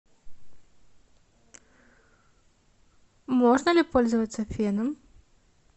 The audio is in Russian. можно ли пользоваться феном